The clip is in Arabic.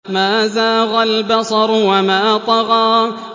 مَا زَاغَ الْبَصَرُ وَمَا طَغَىٰ